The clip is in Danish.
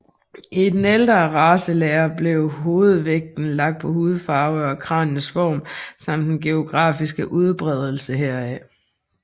I den ældre racelære blev hovedvægten lagt på hudfarve og kraniets form samt den geografiske udbredelse heraf